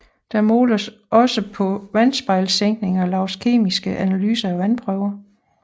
Der måles også på vandspejlssænkning og laves kemiske analyser af vandprøver